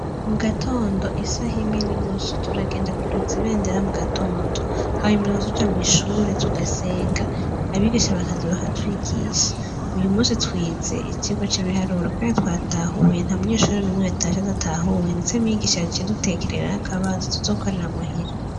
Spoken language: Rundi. Mugatondo i saha imwe n'inusu turagenda kuduza ibendera mu gatondo, hanyuma tugaca tuja mw'ishuri tugasenga, abigisha bakaza bakatwigisha. Uyu musi twize icigwa c'ibiharuro Kandi twatahuye, nta munyeshure n'umwe yatashe adatahuye ndetse mwigisha yaciye adutekerera akabazo tuzokorera muhira.